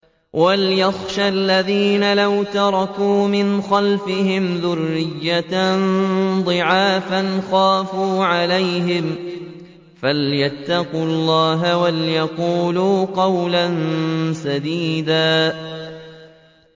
وَلْيَخْشَ الَّذِينَ لَوْ تَرَكُوا مِنْ خَلْفِهِمْ ذُرِّيَّةً ضِعَافًا خَافُوا عَلَيْهِمْ فَلْيَتَّقُوا اللَّهَ وَلْيَقُولُوا قَوْلًا سَدِيدًا